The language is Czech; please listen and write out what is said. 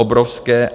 Obrovské.